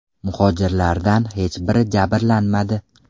Muhojirlardan hech biri jabrlanmadi.